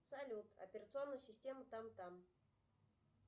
салют операционная система там там